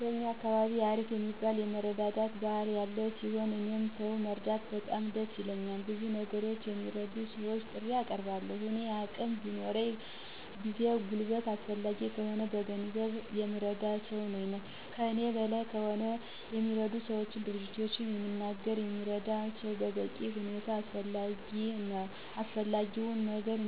በእኛ አካባቢ አሪፍ የሚባል የመረዳዳት ባህል ያለ ሲሆን፤ እኔም ሰው መርዳት በጣም ደስ ይለኛል። በብዙ ነገሮች ለሚረዱ ሰወች ጥሪ አቀርባለሁ። በእኔ አቅም የሚሆነውን ጊዜ፣ ጉልበት አስፈላጊ ከሆነ በገንዘብ የምረዳ ሰው ነኝ። ከእኔ በላይ ከሆነ የሚረዱ ሰወች፣ ድርጅቶችን በሚናገር የሚረዳው ሰው በበቂ ሁኔታ የሚያስፈልገው ነገር